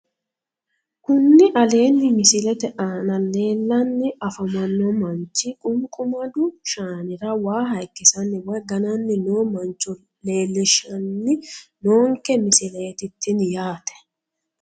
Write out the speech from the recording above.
Kuni aleenni misilete aana leellanni afamanno manchi qunqumadu shaanira waa hayikkisanni woyi gananni noo mancho leellishshanni noonke misileeti tini yaate